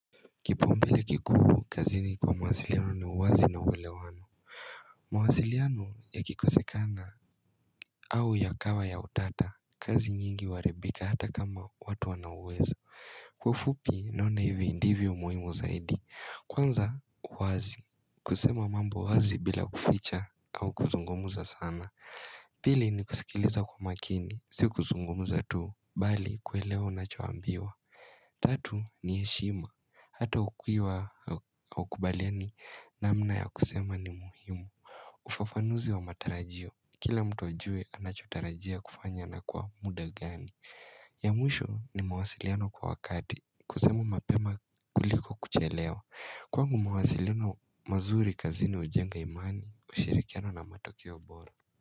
Kipaumbele kikuu kazini kwa mawasiliano ni uwazi na ulewano mawasiliano yakikosekana au yakawa ya utata kazi nyingi huaribika hata kama watu wana uwezo Kwa ufupi naona hivi ndivyo muhimu zaidi Kwanza uwazi kusema mambo wazi bila kuficha au kuzungumuza sana Pili ni kusikiliza kwa makini, si kuzungumuza tu Bali kuelewa unachoambiwa Tatu ni heshima, hata ukiwa haukubaliani namna ya kusema ni muhimu ufafanuzi wa matarajio, kila mtu ajue anachotarajia kufanya na kwa muda gani ya mwisho ni mawasiliano kwa wakati, kusema mapema kuliko kuchelewa Kwangu mawasiliano mazuri kazini hujenga imani, ushirikiano na matokeo bora.